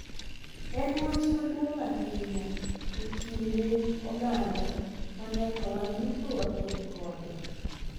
En wach maduong’ ahinya e kind oganda ma nyaka wan duto waked kode.